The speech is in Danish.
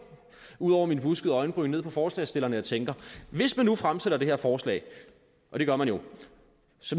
ud under mine buskede øjenbryn ned på forslagsstillerne og tænker hvis man nu fremsætter det her forslag og det gør man jo